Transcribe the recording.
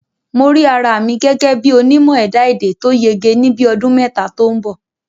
Mo rí ara mi gẹ́gẹ́ bí onímọ̀ ẹ̀dá-èdè tó yege ní bíi ọdún mẹ́ta tó ń bọ̀